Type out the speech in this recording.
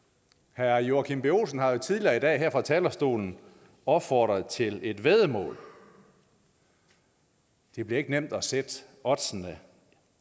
herre joachim b olsen har jo tidligere i dag her fra talerstolen opfordret til et væddemål det bliver ikke nemt at sætte oddsene